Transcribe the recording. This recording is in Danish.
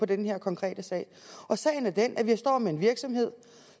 den her konkrete sag og sagen er den at vi står med en virksomhed